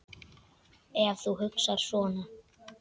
Ef þú hugsar svona.